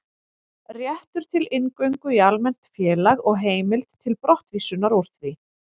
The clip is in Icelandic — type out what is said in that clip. Réttur til inngöngu í almennt félag og heimild til brottvísunar úr því.